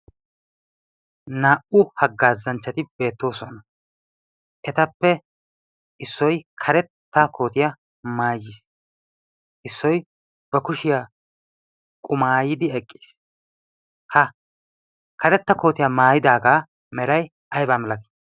naa''u haggaazanchchati beettoosona etappe issoy karetta kootiyaa maayiis issoy ba kushiyaa qumaayidi eqqiis ha karetta kootiyaa maayidaagaa melay aybaa milati